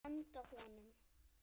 Henda honum?